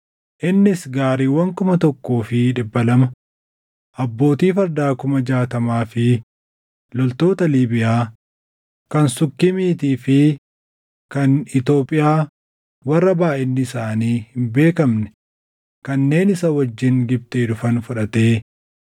Innis gaariiwwan kuma tokkoo fi dhibba lama, abbootii fardaa kuma jaatamaa fi loltoota Liibiyaa, kan Sukkiimiitii fi kan Itoophiyaa warra baayʼinni isaanii hin beekamne kanneen isa wajjin Gibxii dhufan fudhatee,